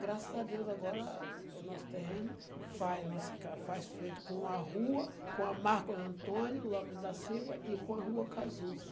Graças a Deus, agora o nosso terreno faz nossa ca faz frente com a rua, com a Marcos Antônio Lopes da Silva e com a rua Cazuza.